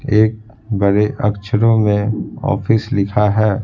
एक बड़े अक्षरों में ऑफिस लिखा है।